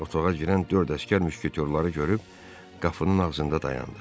Otağa girən dörd əsgər müşketorları görüb qapının ağzında dayandı.